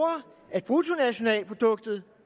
at bruttonationalproduktet